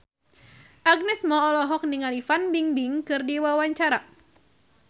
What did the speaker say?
Agnes Mo olohok ningali Fan Bingbing keur diwawancara